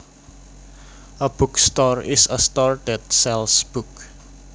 A bookstore is a store that sells books